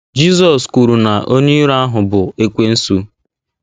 Jizọs kwuru na onye iro ahụ “ bụ Ekwensu. ”